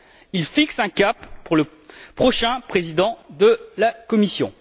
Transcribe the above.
Il fixe un cap pour le prochain président de la Commission.